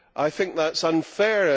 I think that is unfair